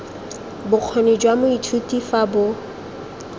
bokgoni jwa moithuti fa bo